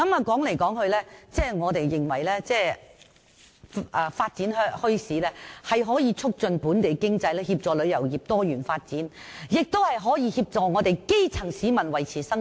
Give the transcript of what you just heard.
總結而言，我們認為發展墟市可以促進本地經濟，協助旅遊業多元發展，也可以協助基層市民維持生計。